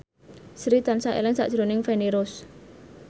Sri tansah eling sakjroning Feni Rose